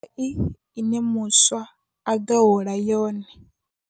Ine muswa a ḓo hola yone.